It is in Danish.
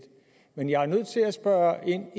men jeg er nødt til at spørge ind